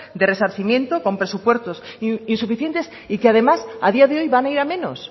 de resarcimiento con presupuestos insuficientes y que además a día de hoy van a ir a menos